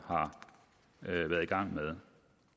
har været i gang med